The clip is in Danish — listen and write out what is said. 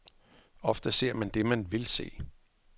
Ofte ser man det, man vil se.